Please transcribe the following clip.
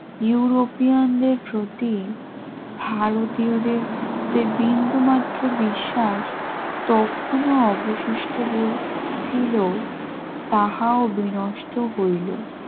ইউরোপিয়ানদের প্রতি ভারতীয়দের যে বিন্দুমাত্র বিশ্বাস তখনও অবশিষ্ট বলছিল তাহাও বিনষ্ট হইল